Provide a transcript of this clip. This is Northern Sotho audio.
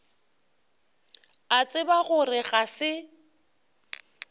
a tseba gore ga se